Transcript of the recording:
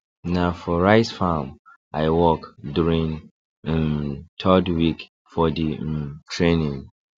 na for rice farm i work during um third week for the um training